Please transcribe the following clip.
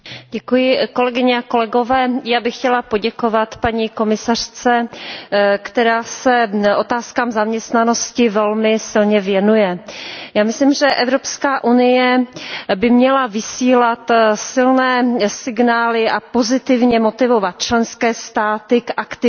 Paní předsedající, já bych chtěla poděkovat paní komisařce, která se otázkám zaměstnanosti velmi silně věnuje. Já myslím, že Evropská unie by měla vysílat silné signály a pozitivně motivovat členské státy k aktivitě,